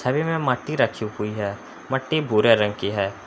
छवि मट्टी रखी हुई है मट्टी भूरे रंग की है।